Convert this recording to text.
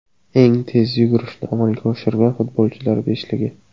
Eng tez yugurishni amalga oshirgan futbolchilar beshligi.